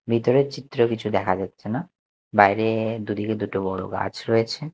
ভিতরের চিত্র কিছু দেখা যাচ্ছে না বাইরে দুদিকে দুটো বড় গাছ রয়েছে।